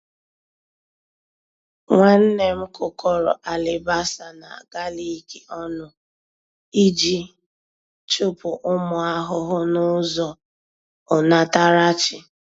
Nwanne m kụkọrọ alibasa na galik ọnụ iji chụpụ ụmụ ahụhụ n'ụzọ onatarachi.